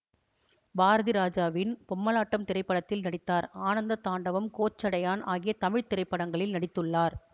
பாரதிராஜாவின் பொம்மலாட்டம் திரைப்படத்தில் நடித்தார் ஆனந்த தாண்டவம் கோச்சடையான் ஆகிய தமிழ் திரைப்படங்களில் நடித்துள்ளார்